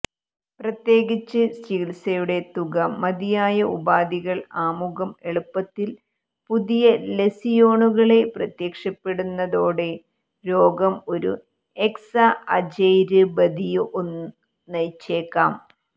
പ്രത്യേകിച്ച് ചികിത്സയുടെ തുക മതിയായ ഉപാധികൾ ആമുഖം എളുപ്പത്തിൽ പുതിയ ലസിയോണുകളെ പ്രത്യക്ഷപ്പെടുന്നതോടെ രോഗം ഒരു എക്സഅചെര്ബതിഒന് നയിച്ചേക്കാം